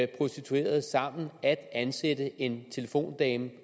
prostituerede sammen at ansætte en telefondame